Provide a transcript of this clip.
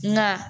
Nka